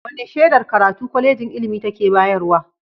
Wane shedar karatu Kwalejin ilimi take bayarwa?